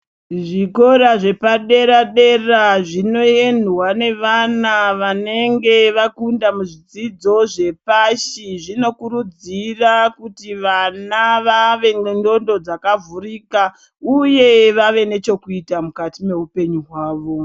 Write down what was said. Zvikora zvepadera dera zvinoendwa nevana vanenge vakunda muzvidzidzo zvepashi zvinokurudzira kuti vana vave nendxondo dzakavhurika uye vave nechokuita mukati mweupenyu hwavo.